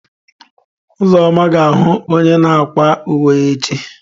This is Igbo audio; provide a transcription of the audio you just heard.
Uzoma ga ahu onye na akwa uwe echi.